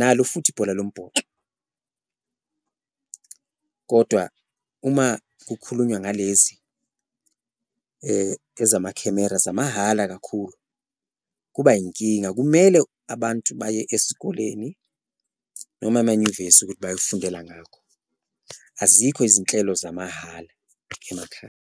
nalo futhi ibhola lombhoxo. Kodwa uma kukhulunywa ngalezi ezamakhemera zamahhala kakhulu kuba inkinga, kumele abantu baye esikoleni noma emanyuvesi ukuthi bayofundela ngakho, azikho izinhlelo zamahhala emakhaya.